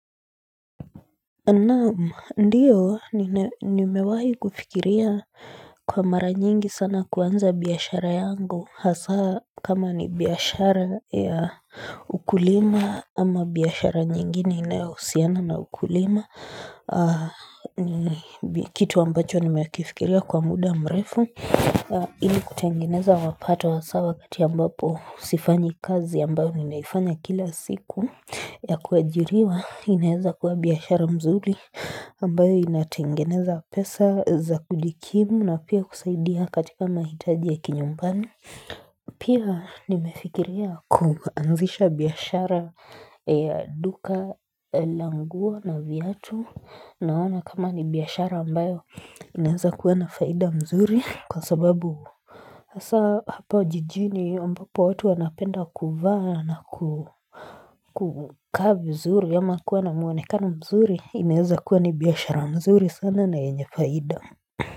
Na'am, ndiyo, nimewahi kufikiria kwa mara nyingi sana kuanza biashara yangu, hasa kama ni biashara ya ukulima ama biashara nyingine inayohusiana na ukulima, kitu ambacho nimekifikiria kwa muda mrefu Ili kutengeneza mapato hasa wakati ambapo sifanyi kazi ambayo ninaifanya kila siku ya kuajiriwa inaeza kuwa biashara mzuri ambayo inatengeneza pesa za kujikimu na pia kusaidia katika mahitaji ya kinyumbani. Pia nimefikiria kuanzisha biashara ya duka la nguo na viatu naona kama ni biashara ambayo inaweza kuwa na faida mzuri kwa sababu Hasa hapa jijini ambapo watu wanapenda kuvaa na kukaa vizuri ama kuwa na muonekano mzuri inaweza kuwa ni biashara mzuri sana na yenye faida.